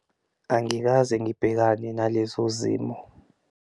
Angikaze ngibhekane nalezo zimo.